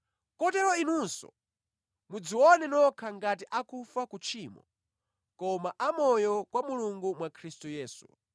Kotero inunso, mudzione nokha ngati akufa ku tchimo koma a moyo kwa Mulungu mwa Khristu Yesu.